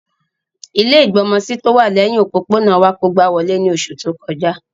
Ilẹ́ ìgbọmọsí tówà lẹhin òpópónà wa kógba wolé ni oṣu to kọja.